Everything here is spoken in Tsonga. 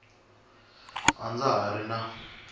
a ndza ha ri na